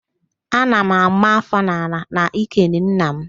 Ana m àmá áfọ́ n'ala n'ikele nna m